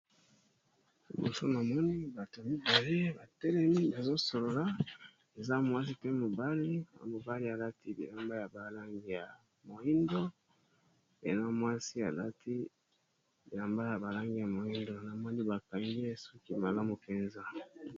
Liboso namoni bato mibale batelemi bazosolola eza mwasi pe mobali na mobali alati lilamba ya balangi ya moindo pe na mwasi alati lilamba ya balangi ya moindo na moni bakangie soki malamu mpenza